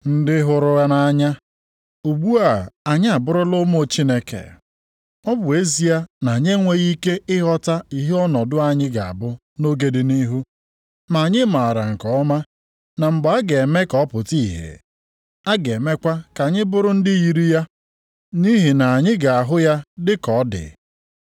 Ndị hụrụ nʼanya, ugbu a anyị abụrụla ụmụ Chineke. Ọ bụ ezie na anyị enweghị ike ịghọta ihe ọnọdụ anyị ga-abụ nʼoge dị nʼihu, ma anyị maara nke ọma na mgbe a ga-eme ka ọ pụta ìhè, a ga-emekwa ka anyị bụrụ ndị yiri ya, nʼihi na anyị ga-ahụ ya dịka ọ dị.